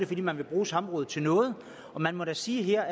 fordi man vil bruge samrådet til noget man må da sige at her